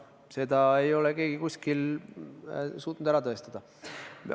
Seda ei ole keegi kuskil suutnud ära tõestada.